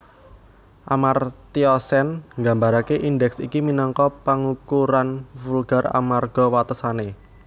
Amartya Sen nggambaraké indèks iki minangka pangukuran vulgar amarga watesané